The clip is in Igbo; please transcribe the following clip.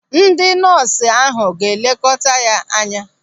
Ndị nọọsụ ahụ ga-elekọta ya anya.